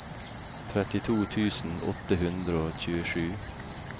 trettito tusen åtte hundre og tjuesju